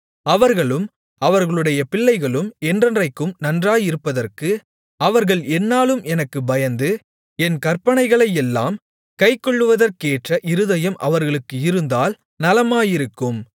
அவர்களும் அவர்களுடைய பிள்ளைகளும் என்றென்றைக்கும் நன்றாயிருப்பதற்கு அவர்கள் எந்நாளும் எனக்குப் பயந்து என் கற்பனைகளையெல்லாம் கைக்கொள்வதற்கேற்ற இருதயம் அவர்களுக்கு இருந்தால் நலமாயிருக்கும்